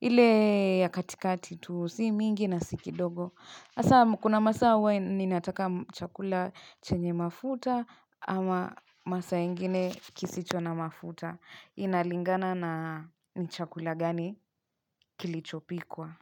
ile ya katikati tu, si mingi na si kidogo. Hasa, kuna masaa hua ninataka chakula chenye mafuta ama masaa ingine kisicho na mafuta. Inalingana na ni chakula gani kilichopikwa.